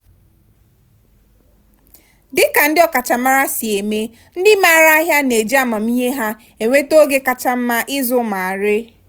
dịka ndị ọkachamara si eme ndị maara ahịa na-eji amamihe ha enweta oge kacha mma ịzụ ma ree.